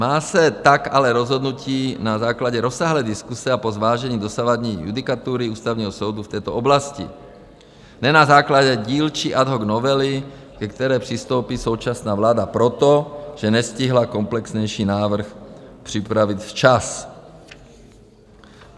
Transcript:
Má se tak ale rozhodnout na základě rozsáhlé diskuse a po zvážení dosavadní judikatury Ústavního soudu v této oblasti, ne na základě dílčí ad hoc novely, ke které přistoupí současná vláda proto, že nestihla komplexnější návrh připravit včas.